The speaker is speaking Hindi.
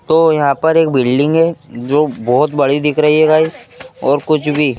तो यहां पर एक बिल्डिंग है जो बहुत बड़ी दिख रही है गाइस और कुछ भी--